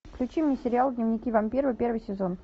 включи мне сериал дневники вампира первый сезон